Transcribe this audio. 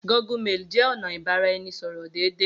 Gmail jẹ ọna ibaraẹnisọrọ deede.